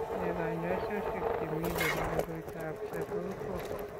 Nee kanyoisoshek che mii chebo koroitoab Central Core?